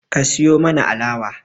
Ka siyo mana alawa